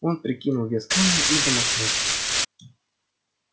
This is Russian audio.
он прикинул вес камня и замахнулся